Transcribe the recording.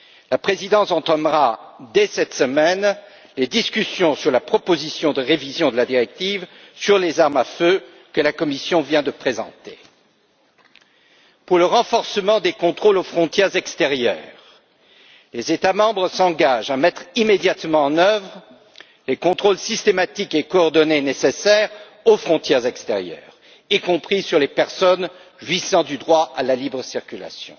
La présidence entamera, dès cette semaine, les discussions sur la proposition de révision de la directive sur les armes à feu, que la Commission vient de présenter. En ce qui concerne le renforcement des contrôles aux frontières extérieures, les États membres s'engagent à mettre immédiatement en œuvre les contrôles systématiques et coordonnés nécessaires aux frontières extérieures, y compris sur les personnes jouissant du droit à la libre circulation.